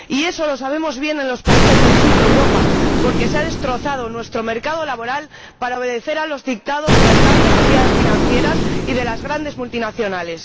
Y eso lo sabemos bien en los países del sur de Europa, porque se ha destrozado nuestro mercado laboral para obedecer a los dictados de las grandes entidades financieras y de las grandes multinacionales.